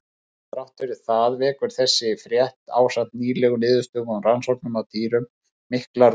Þrátt fyrir það vekur þessi frétt, ásamt nýlegum niðurstöðum úr rannsóknum á dýrum, miklar vonir.